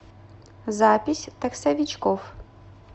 запись таксовичкоф